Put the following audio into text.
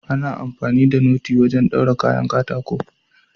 Ana amfani da noti wajen daure kayan katako.